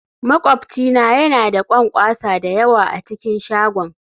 Makwabci na yana da ƙwanƙwasa da yawa a cikin shagon